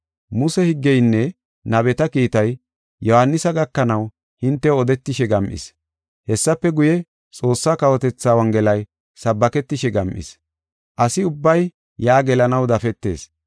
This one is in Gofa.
“Muse higgeynne nabeta kiitay Yohaanisa gakanaw hintew odetishe gam7is. Hessafe guye, Xoossaa kawotethaa Wongelay sabbaketishe gam7is. Asi ubbay yaa gelanaw dafetees.